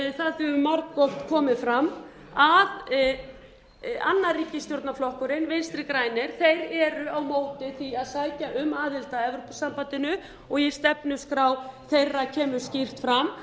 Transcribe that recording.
svo sem margoft hefur fram að annar ríkisstjórnarflokkurinn vinstri grænir er á móti því að sækja um aðild að evrópusambandinu og í stefnuskrá þeirra kemur skýrt fram